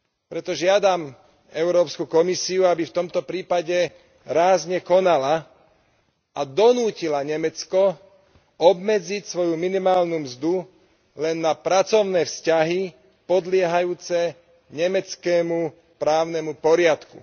Preto žiadam Európsku komisiu, aby v tomto prípade rázne konala a donútila Nemecko obmedziť svoju minimálnu mzdu len na pracovné vzťahy podliehajúce nemeckému právnemu poriadku.